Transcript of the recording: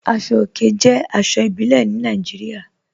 Aṣọ̀ ọ̀kè jẹ́ aṣọ̀ ìbílẹ̀ ní Nàìjíríà.